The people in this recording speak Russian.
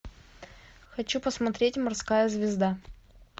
хочу посмотреть морская звезда